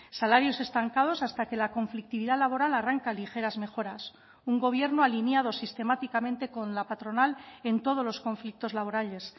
salarios estancados hasta que la conflictividad laboral arranca ligeras mejoras un gobierno alineado sistemáticamente con la patronal en todos los conflictos laborales